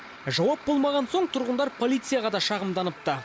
жауап болмаған соң тұрғындар полицияға да шағымданыпты